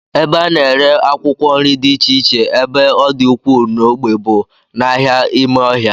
Ebe a na-ere akwụkwọ nri dị iche iche ebe ọ dị ukwuu n'ogbe bụ n'ahịa ime ọhịa